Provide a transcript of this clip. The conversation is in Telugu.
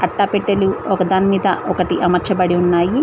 పెట్టెలు ఒక దాని మీద ఒకటీ అమర్చబడి ఉన్నాయి.